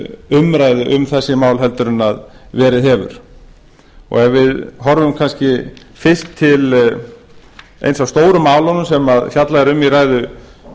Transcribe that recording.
umræðu um þessi mál en verið hefur ef við horfum kannski fyrst til eins af stóru málunum sem fjallað er